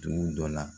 Dugu dɔ la